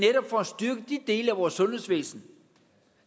dele af vores sundhedsvæsen